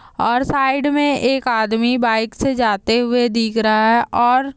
और साइड मे एक आदमी बाइक से जाते हुए दिख रहा है और--